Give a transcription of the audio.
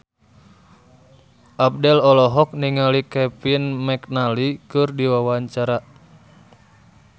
Abdel olohok ningali Kevin McNally keur diwawancara